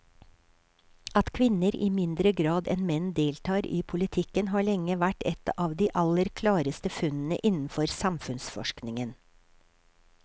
At kvinner i mindre grad enn menn deltar i politikken har lenge vært et av de aller klareste funnene innenfor samfunnsforskningen.